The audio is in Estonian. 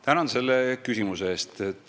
Tänan selle küsimuse eest!